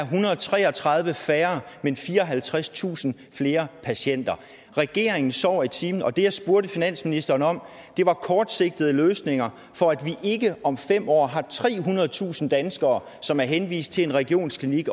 hundrede og tre og tredive færre men fireoghalvtredstusind flere patienter regeringen sover i timen og det jeg spurgte finansministeren om var kortsigtede løsninger for at vi ikke om fem år har trehundredetusind danskere som er henvist til en regionsklinik